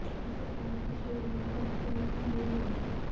इसे खाने से शरीर में खून की कमी भी नहीं होगी